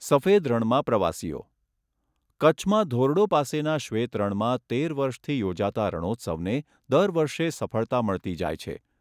સફેદ રણમાં પ્રવાસીઓ કચ્છમાં ધોરડો પાસેના શ્વેત રણમાં તેર વર્ષથી યોજાતા રણોત્સવને દર વર્ષે સફળતા મળતી જાય છે.